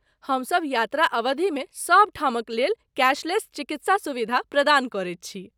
हमसभ यात्रा अवधिमे सभठामक लेल कैशलेस चिकित्सा सुविधा प्रदान करैत छी।